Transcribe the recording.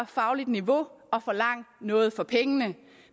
fagligt niveau og forlang noget for pengene